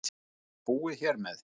Er þetta búið hér með?